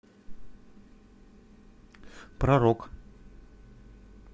про рок